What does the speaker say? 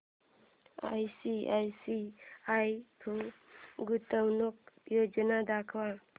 ICICI Pru गुंतवणूक योजना दाखव